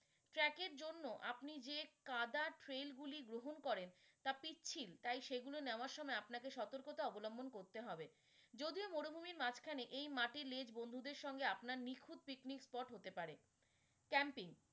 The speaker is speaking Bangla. Track এর জন্য আপনি যে গুলি গ্রহণ করেন তা পিচ্ছিল তাই সেগুলো নেওয়ার সময় আপনাকে সতর্কতা অবলম্বন করতে হবে, যদিও মরুভূমির মাঝখানে এই মাটির lane বন্ধুদের সঙ্গে আপনার নিখুঁত picnic spot হতে পারে। camping